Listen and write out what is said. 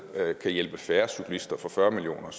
kan hjælpe færre cyklister for fyrre million